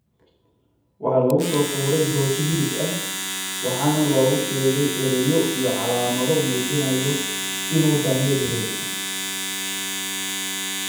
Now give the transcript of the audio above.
Waxaa lagu soo tuuray rooti hilib ah, waxaana loogu sheegay erayo iyo calaamado muujinaya inuu daanyeer yahay.